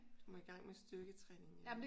Du må i gang med styrketræningen igen